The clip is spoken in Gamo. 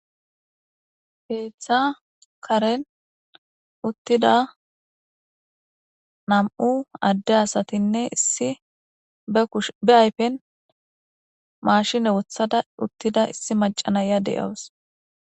keeththa karen uttida nam7u adde asatinne issi ushbe ayfen maashine wothada uttida issi macanaya de7aws